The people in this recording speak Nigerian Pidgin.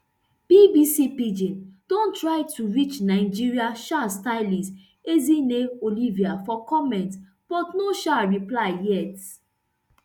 bbc pidgin don try to reach nigerian um stylist ezinne olivia for comment but no um reply yet